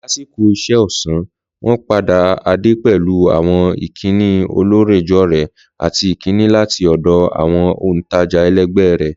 Lásìkò iṣẹ́ ọ̀sán, wọ́n pàdé Ade pẹ̀lú àwọn ìkíni ọlọ́rẹ̀ẹ́jọ̀rẹ́ àti ìkíni láti ọ̀dọ̀ àwọn òntajà ẹlẹgbẹ́ rẹ̀.